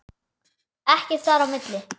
Ekkert þar á milli.